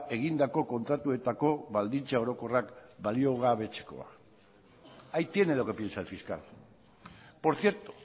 egindako kontratuetako baldintza orokorrak baliogabetzekoa ahí tiene lo que piensa el fiscal por cierto